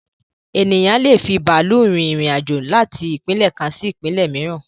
Ènìyàn lé è fi bàálù rin irin-àjò láti ìpínlẹ̀ kan sí ìpínlẹ̀ mìíràn